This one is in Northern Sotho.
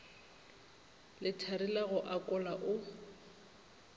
lethari la go akola o